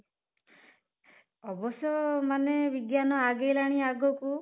ଅବଶ୍ୟ ମାନେ ବିଜ୍ଞାନ ଆଗେଇଲାଣି ଆଗକୁ